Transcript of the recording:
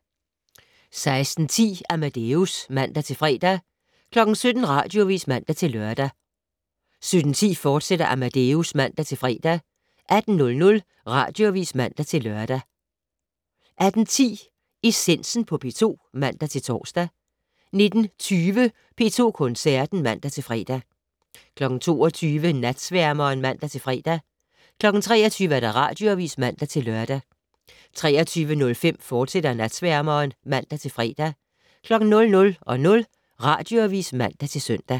16:10: Amadeus (man-fre) 17:00: Radioavis (man-lør) 17:10: Amadeus, fortsat (man-fre) 18:00: Radioavis (man-lør) 18:10: Essensen på P2 (man-tor) 19:20: P2 Koncerten (man-fre) 22:00: Natsværmeren (man-fre) 23:00: Radioavis (man-lør) 23:05: Natsværmeren, fortsat (man-fre) 00:00: Radioavis (man-søn)